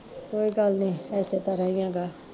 ਕੋਈ ਗੱਲ ਨੀ ਏਸੇ ਤਰਾਂ ਈ ਗਾ